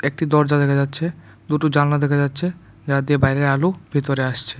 একটি দরজা দেখা যাচ্ছে দুটো জানলা দেখা যাচ্ছে যা দিয়ে বাইরের আলো ভিতরে আসছে।